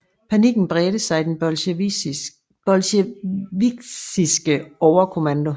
Panikken bredte sig i den bolsjevikiske overkommando